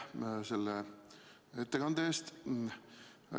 Aitäh selle ettekande eest!